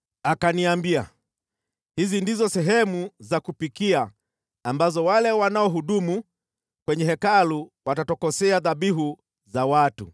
Akaniambia, “Hizi ndizo sehemu za kupikia ambazo wale wanaohudumu kwenye Hekalu watatokosea dhabihu za watu.”